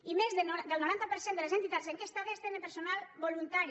i més del noranta per cent de les entitats enquestades tenen personal voluntari